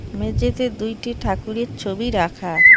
মেঝেতে দুইটি ঠাকুরের ছবি রাখা।